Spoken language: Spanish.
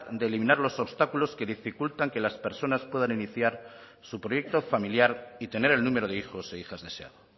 de eliminar los obstáculos que dificultan que las personas puedan iniciar su proyecto familiar y tener el número de hijos e hijas deseado